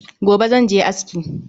Gobe zan je aski